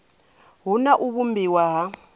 hu na u vhumbiwa ha